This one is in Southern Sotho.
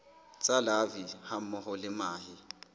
tsa larvae hammoho le mahe